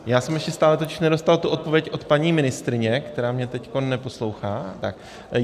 Já jsem ještě stále totiž nedostal tu odpověď od paní ministryně, která mě teď neposlouchá.